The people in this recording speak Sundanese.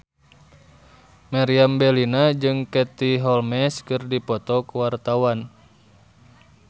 Meriam Bellina jeung Katie Holmes keur dipoto ku wartawan